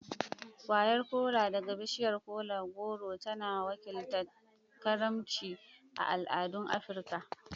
Kwayar Kola daga bishiyar kola-goro tana wakiltar karimci a al'adun Afirka.